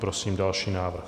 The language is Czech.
Prosím další návrh.